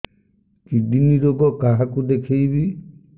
kidney ରୋଗ କାହାକୁ ଦେଖେଇବି